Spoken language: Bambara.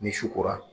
Ni su kora